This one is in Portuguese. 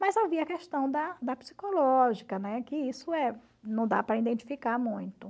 Mas havia a questão da da psicológica, né, que isso é não dá para identificar muito.